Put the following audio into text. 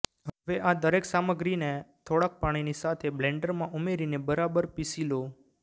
હવે આ દરેક સામગ્રીને થોડાક પાણીની સાથે બ્લેન્ડરમાં ઉમેરીની બરાબર પીસી લો